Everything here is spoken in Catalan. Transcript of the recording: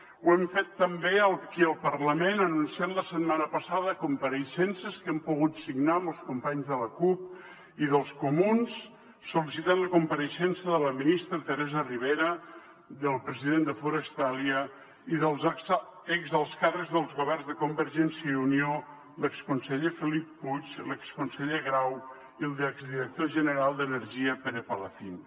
ho hem fet també aquí al parlament anunciant la setmana passada compareixences que hem pogut signar amb els companys de la cup i dels comuns sol·licitant la compareixença de la ministra teresa ribera del president de forestalia i dels ex alts càrrecs dels governs de convergència i unió l’exconseller felip puig l’exconseller grau i l’exdirector general d’energia pere palacín